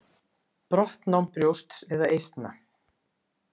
Brottnám brjósts eða eistna.